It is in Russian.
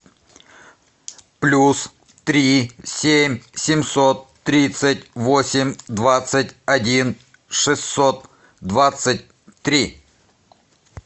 плюс три семь семьсот тридцать восемь двадцать один шестьсот двадцать три